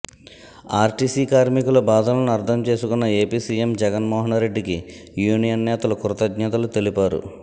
RTC కార్మికుల బాధలను అర్థంచేసుకున్న ఏపీ సీఎం జగన్మోహనరెడ్డికి యూనియన్ నేతలు కృతజ్ఞతలు తెలిపారు